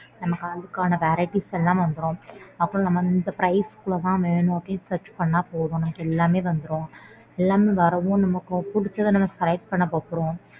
நமக்கான varieties எல்லாம் வந்துரும். அப்புறம் நம்ம இந்த price குள்ள தான் வேணும்னு search பண்ணா போதும். நமக்கு எல்லாமே வந்துரும் எல்லாமே வரவும் நமக்கு பிடிச்சத நம்ம select பண்ண போபோறோம்.